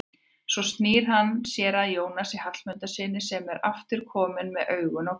Svo snýr hann sér að Jónasi Hallmundssyni sem aftur er kominn með augun á gluggann.